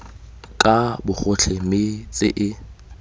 ka bogotlhe mme tse e